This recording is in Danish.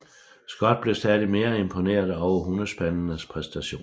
Scott blev stadig mere imponeret over hundespandenes præstationer